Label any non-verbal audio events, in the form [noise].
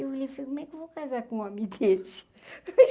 Eu olhei falei, como é que eu vou casar com um homem desse? [laughs]